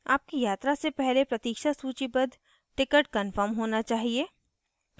आपकी यात्रा से पहले प्रतीक्षा सूचीबद्ध wait listed ticket कन्फर्म होना चाहिए